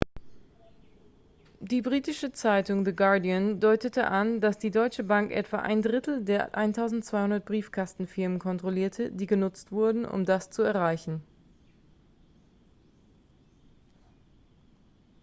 die britische zeitung the guardian deutete an dass die deutsche bank etwa ein drittel der 1200 briefkastenfirmen kontrollierte die genutzt wurden um das zu erreichen